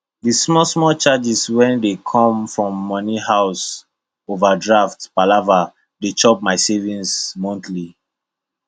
that smallsmall charges wey dey come from money house overdraft palava dey chop my savings monthly